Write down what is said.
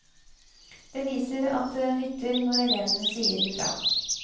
Det viser at det nytter når elevene sier fra.